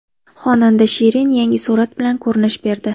Xonanda Shirin yangi surat bilan ko‘rinish berdi.